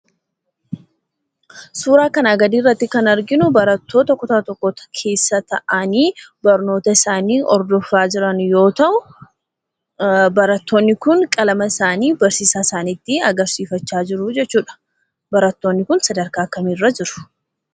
Suura kanaa gadii irratti kan arginu, barattoota kutaa tokkoo Keessa ta'anii barnoota isaanii hordofaa jiran yoo ta'u, barattoonni kun qalama isaanii barsiisaa isaaniitti agarsiifachaa jiruu jechuudha. Barattoonni kun sadarkaa kamirra jiru?